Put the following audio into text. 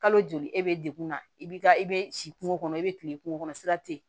Kalo joli e bɛ dekunna i bɛ ka i bɛ si kungo kɔnɔ i bɛ kile kungo kɔnɔ sira tɛ yen